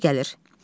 Oqtay gəlir.